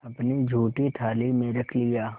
अपनी जूठी थाली में रख लिया